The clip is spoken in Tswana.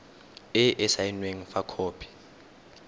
e e saenweng fa khopi